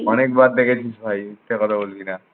অনেকবার দেখেছিস ভাই মিথ্যা কথা বলবি না।